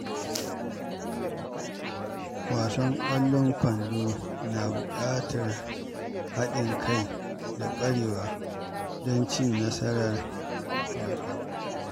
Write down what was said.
Wasan ƙwallon kwando na buƙatar haɗin kai da ƙwarewa don cin nasarar wasan